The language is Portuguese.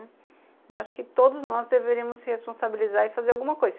Eu acho que todos nós deveríamos se responsabilizar e fazer alguma coisa.